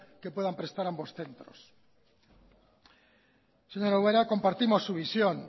que puedan prestar ambos centros señora ubera compartimos su visión